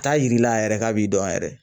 T'a yira yɛrɛ k'a b'i dɔn yɛrɛ